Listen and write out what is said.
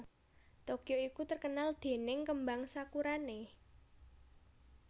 Tokyo iku terkenal dening kembang sakurane